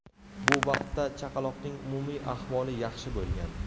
Bu vaqtda chaqaloqning umumiy ahvoli yaxshi bo‘lgan.